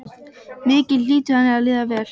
Mikið hlýtur henni að líða vel.